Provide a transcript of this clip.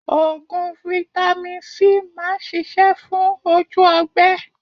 Oògùn Vitamin C máa ń ṣisẹ́ fún ojú ọgbẹ́